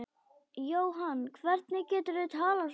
Jóhann, hvernig geturðu talað svona?